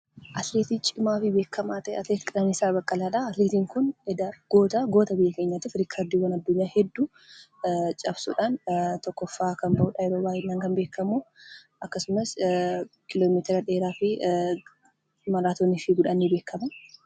Atileetii baay'ee cimaa ta'e atileetii Qananiisaa Baqqalaadha. Atileetiin kun goota biyya keenyati riikardiiwwan addunyaa hedduu cabsuudhaan tokkoffaa kan bahudha yeroo baay'ee kan beekamu. Akkasumas, kiiloomeetira dheeraa fi maraatoonii fiiguudhaan ni beekama.